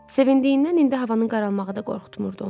Sevindiyindən indi havanın qaralmağı da qorxutmurdu onu.